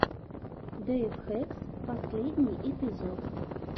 дэйв хэкс последний эпизод